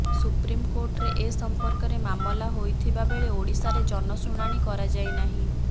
supreme କୋର୍ଟରେ ଏ ସମ୍ପର୍କରେ ମାମଲା ହୋଇଥିବାବେଳେ ଓଡିଶାରେ ଜନଶୁଣାଣି କରାଯାଇନାହିଁ